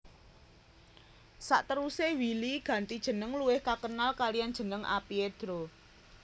Sateruse Willy ganti jeneng luwih kakenal kalian jeneng A Piedro